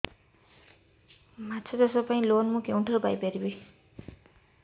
ମାଛ ଚାଷ ପାଇଁ ଲୋନ୍ ମୁଁ କେଉଁଠାରୁ ପାଇପାରିବି